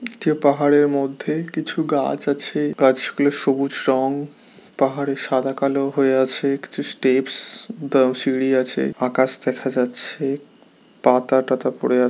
যে পাহাড়ের মধ্যে কিছু গাছ আছে। গাছগুলো সবুজ রং। পাহাড়ে সাদা কালো হয়ে আছে। কিছু স্টেপস দা সিড়ি আছে। আকাশ দেখা যাচ্ছে। পাতা টাতা পড়ে আ --